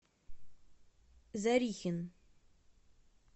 зорихин